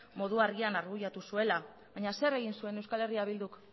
modu argian argudiatu zuela baina zer egin zuen euskal herria bilduk